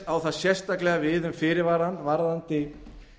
á það sérstaklega við um fyrirvarann varðandi